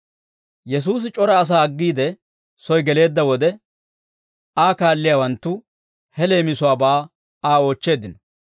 Yesuusi c'ora asaa aggiide soy geleedda wode, Aa kaalliyaawanttu he leemisuwaabaa Aa oochcheeddino.